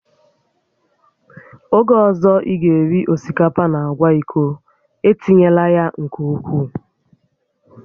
Oge ọzọ ị ga-eri osikapa na agwa iko, etinyela ya nke ukwuu